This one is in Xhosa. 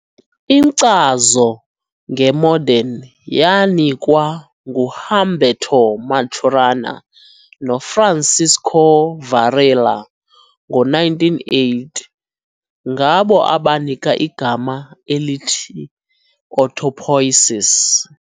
Inkcazo nge-modern yanikwa ngu-Humberto Maturana no-Francisco Varela ngo-1980, ngabo abanika igama elithi "autopoiesis".